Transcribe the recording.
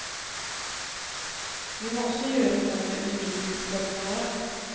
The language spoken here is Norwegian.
Vi må også gjøre noe med undervisningsformene våre.